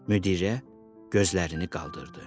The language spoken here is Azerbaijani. Müdirə gözlərini qaldırdı.